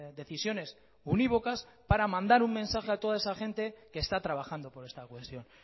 decisiones univocas para mandar un mensaje a toda esa gente que está trabajando por esta cuestión